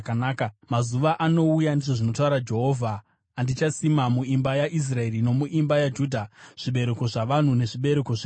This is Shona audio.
“Mazuva anouya,” ndizvo zvinotaura Jehovha, “andichasima muimba yaIsraeri nomuimba yaJudha zvibereko zvavanhu nezvibereko zvemhuka.